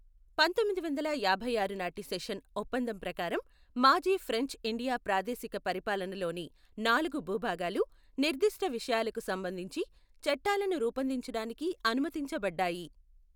పంతొమ్మిదివందల యాభైఆరు నాటి సెషన్ ఒప్పందం ప్రకారం, మాజీ ఫ్రెంచ్ ఇండియా ప్రాదేశిక పరిపాలనలోని నాలుగు భూభాగాలు నిర్దిష్ట విషయాలకు సంబంధించి చట్టాలను రూపొందించడానికి అనుమతించబడ్డాయి.